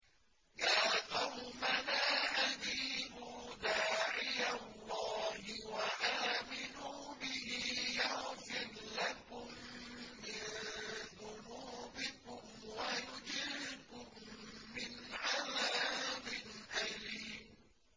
يَا قَوْمَنَا أَجِيبُوا دَاعِيَ اللَّهِ وَآمِنُوا بِهِ يَغْفِرْ لَكُم مِّن ذُنُوبِكُمْ وَيُجِرْكُم مِّنْ عَذَابٍ أَلِيمٍ